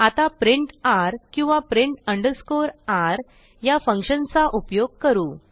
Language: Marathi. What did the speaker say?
आता प्रिंट र किंवा प्रिंट अंडरस्कोर र या फंक्शनचा उपयोग करू